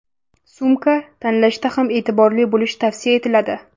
Sumka tanlashda ham e’tiborli bo‘lish tavsiya etiladi.